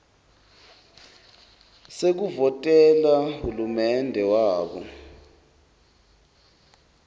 sekuvotela hulumende wabo